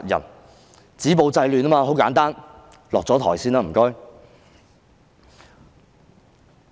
要止暴制亂，很簡單，請她先下台。